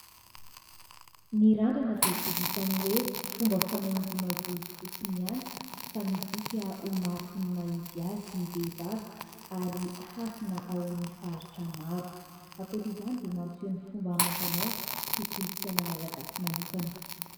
Ny randrana dia tsy vitan'ny hoe fomba fanahaingona volo fotsiny ihany, fa midika ho mariky ny maha izy azy ny vehivavy ary hasina ao amin'ny faritra maro. Ankoatra izany dia mampiseho ny fomba amam-panao sy kolontsaina Malagasy manokana.